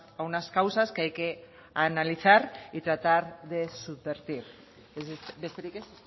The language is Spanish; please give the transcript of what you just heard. a unas causas que hay que analizar y tratar de subvertir besterik ez